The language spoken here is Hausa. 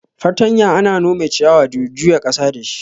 Fartanya ana nome ciyawa da juya ƙasa dashi.